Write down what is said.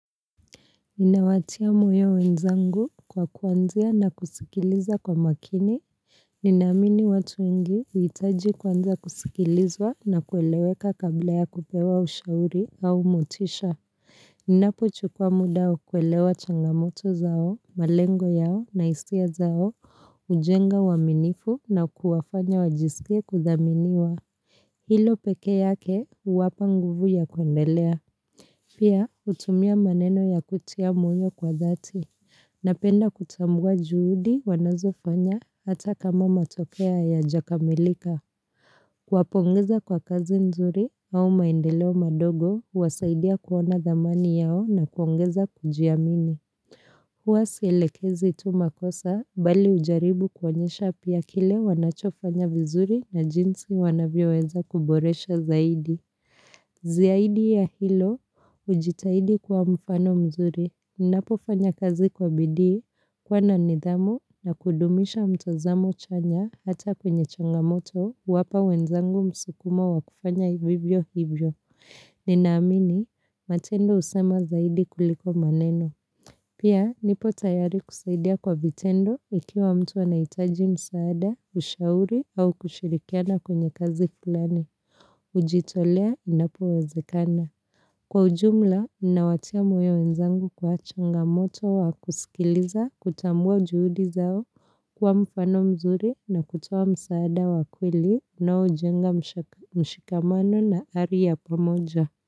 Inawatia moyo wenzangu kwa kuanzia na kusikiliza kwa makini Ninaamini watu wengi huitaji kuanza kusikilizwa na kueleweka kabla ya kupewa ushauri au motisha Ninapo chukwa muda wa kuelewa changamoto zao, malengo yao na hisia zao, hujenga uaminifu na kuwafanya wajisikie kudhaminiwa Hilo peke yake huwapa nguvu ya kuendelea Pia hutumia maneno ya kutia moyo kwa dhati, napenda kutambua juhudi wanazofanya hata kama matokea hayajakamilika. Kuwapongeza kwa kazi nzuri au maendeleo madogo, huwasaidia kuona dhamani yao na kuongeza kujiamini. Huwa sielekezi tu makosa, bali hujaribu kuonyesha pia kile wanachofanya vizuri na jinsi wanavyoweza kuboresha zaidi. Ziaidi ya hilo, ujitahidi kwa mfano mzuri, ninapofanya kazi kwa bidii kuwa na nidhamu na kudumisha mtazamo chanya hata kwenye changamoto huwapa wenzangu msukumo wa kufanya vivyo hivyo. Ninaamini, matendo husema zaidi kuliko maneno. Pia, nipo tayari kusaidia kwa vitendo ikiwa mtu anaitaji msaada, ushauri au kushirikiana kwenye kazi flani. kUjitolea inapowezekana. Kwa ujumla, inawatia moyo wenzangu kwa changamoto wa kusikiliza kutambua juhudi zao kuwa mfano mzuri na kutuoa msaada wa kweli unaojenga mshikamano na ari ya pamoja.